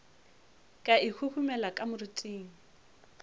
ka e huhumela ka moriting